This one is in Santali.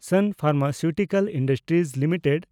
ᱥᱟᱱ ᱯᱷᱮᱱᱰᱢᱟᱥᱤᱣᱴᱤᱠᱟᱞ ᱤᱱᱰᱟᱥᱴᱨᱤᱡᱽ ᱞᱤᱢᱤᱴᱮᱰ